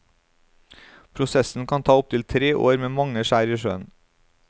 Prosessen kan ta opptil tre år med mange skjær i sjøen.